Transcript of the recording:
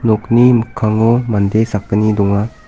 nokni mikkango mande sakgni donga.